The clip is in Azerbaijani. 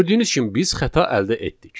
Gördüyünüz kimi biz xəta əldə etdik.